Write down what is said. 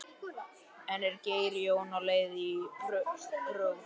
En er Geir Jón á leið í prófkjör?